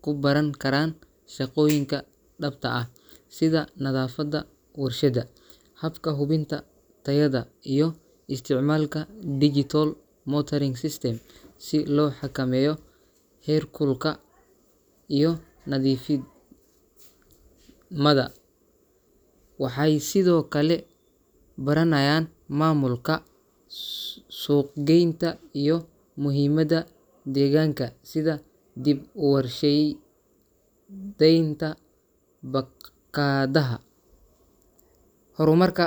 ku baran karaan shaqooyinka dhabta ah, sida nadaafadda warshadda, habka hubinta tayada, iyo isticmaalka digital monitoring system si loo xakameeyo heerkulka iyo nadiif mada. Waxay sidoo kale baranayaan maamulka, suuqgeynta iyo muhiimadda deegaanka, sida dib-u-warshey deynta baakaa daha. Horumarka .